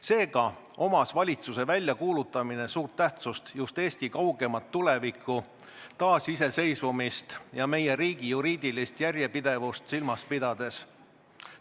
Seega oli valitsuse väljakuulutamisel suur tähtsus just Eesti kaugemat tulevikku, taasiseseisvumist ja meie riigi juriidilist järjepidevust silmas pidades.